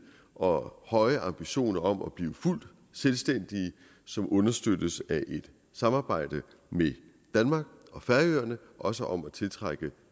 og høje ambitioner om at blive fuldt selvstændige som understøttes af et samarbejde med danmark og færøerne også om at tiltrække